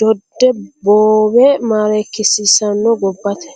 dode boowe maarreekisiisano gobbate.